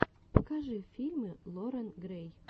покажи фильмы лорен грэй